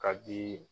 Ka di